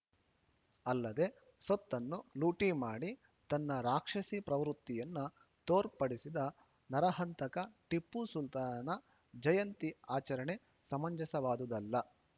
ಅಲ್ಲದೆ ಸೊತ್ತನ್ನು ಲೂಟಿ ಮಾಡಿ ತನ್ನ ರಾಕ್ಷಸಿ ಪ್ರವೃತ್ತಿಯನ್ನು ತೋರ್ಪಡಿಸಿದ ನರಹಂತಕ ಟಿಪ್ಪು ಸುಲ್ತಾನನ ಜಯಂತಿ ಆಚರಣೆ ಸಮಂಜಸವಾದುದಲ್ಲ